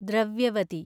Dravyavati